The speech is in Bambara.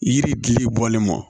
Yiri gili bɔlen kɔ